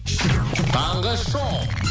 таңғы шоу